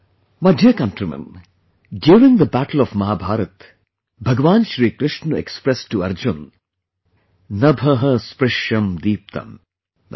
My dear countrymen, during the battle of Mahabharata, Bhagwan Shri Krishna expressed to Arjuna ' Nabhah Sprisham Deeptam ' i